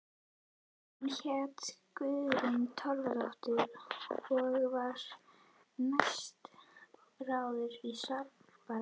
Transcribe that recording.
Hún hét Guðrún Torfadóttir og var næstráðandi í Svalbarða.